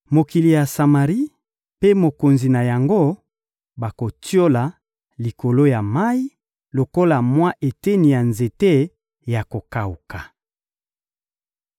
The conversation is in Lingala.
Mokili ya Samari mpe mokonzi na yango bakotiola likolo ya mayi lokola mwa eteni ya nzete ya kokawuka.